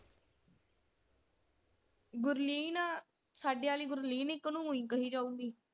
ਗੁਰਲੀਨ ਆ ਸਾਡੇ ਆਲੀ ਗੁਰਲੀਨ ਇਕ ਨੂੰ ਉਈ ਕਹੀ ਜਾਊਗੀ।